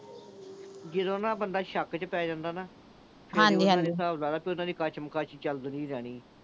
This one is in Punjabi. ਜਦੋਂ ਨਾ ਬੰਦਾ, ਸ਼ੱਕ ਚ ਪੈ ਜਾਂਦਾ ਨਾ। ਹਿਸਾਬ ਲਾ ਲੈ, ਉਨ੍ਹਾਂ ਦੀ ਕਸ਼ਮਕਸ਼ ਚਲਦੀ ਓ ਰਹਿਣੀ ਆ।